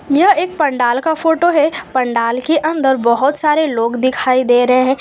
यह एक पंडाल का फोटो है पंडाल के अंदर बहोत सारे लोग दिखाई दे रहे हैं।